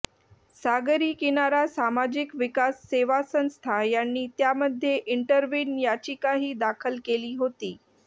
सागरी किनारा सामाजिक विकास सेवा संस्था यांनी त्यामध्ये इंटरव्हीन याचिकाही दाखल केली होती